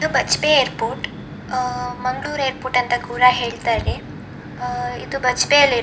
ಇದು ಬಜ್ಪೆ ಏರ್ಪೋರ್ಟ್ ಅಹ್ ಮಂಗಳೂರ್ ಏರ್ಪೋರ್ಟ್ ಅಂತ ಕೂಡ ಹೇಳ್ತಾರೆ ಅಹ್ ಇದು ಬಜ್ಪೆಯಲ್ಲಿ --